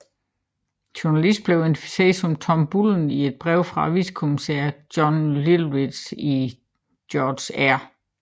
Journalisten blev identificeret som Tom Bullen i et brev fra vicepolitikommissær John Littlechild til George R